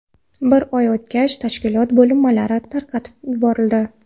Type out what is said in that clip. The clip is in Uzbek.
Bir oy o‘tgach, tashkilot bo‘linmalari tarqatib yuborildi.